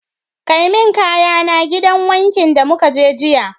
Kai min kayana gidan wankin da mukaje jiya